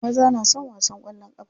Maza na son wasan kwallon kafa.